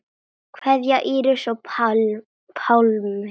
Kveðja, Íris og Pálmi.